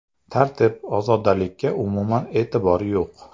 Tartib, ozodalikka umuman e’tibor yo‘q.